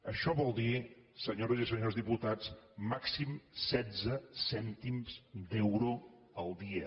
això vol dir senyores i senyors diputats màxim setze cèntims d’euro al dia